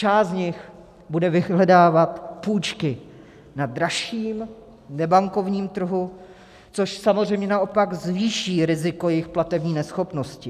Část z nich bude vyhledávat půjčky na dražším nebankovním trhu, což samozřejmě naopak zvýší riziko jejich platební neschopnosti.